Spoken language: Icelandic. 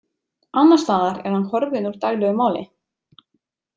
Annars staðar er hann horfinn úr daglegu máli.